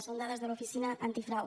són dades de l’oficina antifrau